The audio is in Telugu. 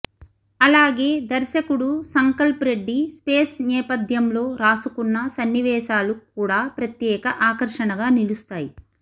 అలాగే దర్శకుడు సంకల్ప్ రెడ్డి స్పేస్ నేపథ్యంలో రాసుకున్న సన్నివేశాలు కూడా ప్రత్యేక ఆకర్షణగా నిలుస్తాయి